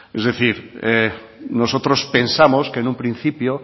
es decir nosotros pensamos que en un principio